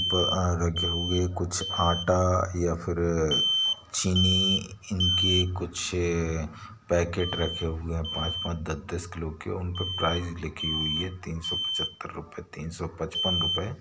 और कुछ आटा कुछ चीनी के पैकेट रखे हुए हैं पांच- पांच दास किलो के| उसमें रुपया लिखा हुआ है तीन सौ पचहतर ।